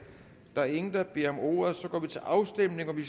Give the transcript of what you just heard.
der er ingen der beder om ordet og så går vi til afstemning